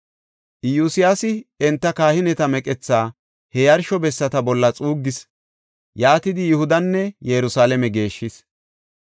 Iyosyaasi enta kahineta meqethaa he yarsho bessata bolla xuuggis; yaatidi, Yihudanne Yerusalaame geeshshis.